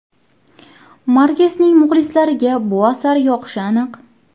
Markesning muxlislariga bu asar yoqishi aniq.